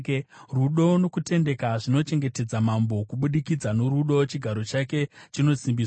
Rudo nokutendeka zvinochengetedza mambo; kubudikidza norudo chigaro chake chinosimbiswa.